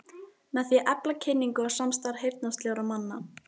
Með því að efla kynningu og samstarf heyrnarsljórra manna.